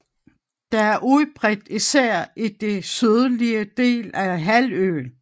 Det er udbredt især i den sydlige del af halvøen